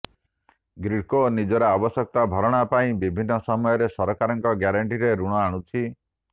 ଗ୍ରୀଡ଼କୋ ନିଜର ଆବଶ୍ୟକତା ଭରଣା ପାଇଁ ବିଭିନ୍ନ ସମୟରେ ସରକାରଙ୍କ ଗ୍ୟାରେଣ୍ଟିରେ ଋଣ ଆଣୁଛି